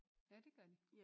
Ja det gør de